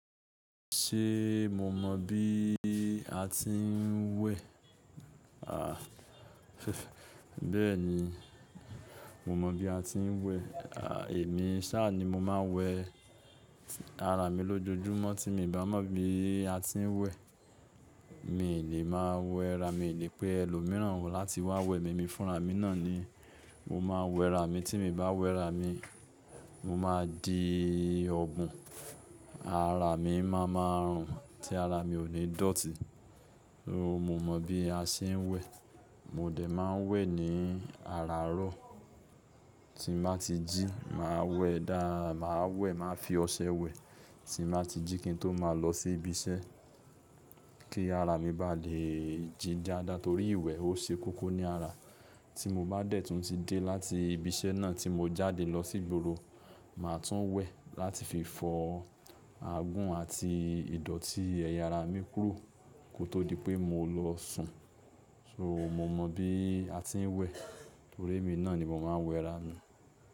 Ṣé mo mọ bí a ti ń wẹ̀? A, bẹ́ẹ̀ni, mo mọ bí a ti ń wẹ̀. Èmi sáà ni mo máa ń wẹ ara mi lójoojúmọ́ tí mi ò bá mọ̀ bí a ti ń wẹ̀. Mí lè máa wẹ, ra mí lè pé ẹlòmíràn wò láti wá wẹ mi, mi fúnra mi náà ni mo máa ń wẹ ara mi. Tí mi bá wẹ ara mi, mo máa di ọ̀bun, ara mi má máa rùn, tí ara mi ò ní ìdọ́tì. So mo mọ bí a ṣe ń wẹ̀. Mo dè máa ń wẹ̀ ní àràárọ̀ tí mà ti jí, màá wẹ̀. Daà, màá wẹ̀, màá fi ọṣẹ wẹ̀ tí mà ti jí kí n tó máa lọ sí ibi iṣẹ́ kí ara mi bá lè jí dáadáa torí ìwẹ̀ ó ṣe kókó ní ara. Tí mo bá dẹ̀ tún ti dé láti ibi iṣẹ́ náà tí mo jáde lọ sí gboro, màá tún wẹ̀ láti fi fọ agún àti ìdọ̀tí ẹyà ara mi kúrò kó tó di pé mo lọ sùn. So mo mọ bí a ti ń wẹ̀ torí èmi náà ni mo máa ń wẹ ara mi.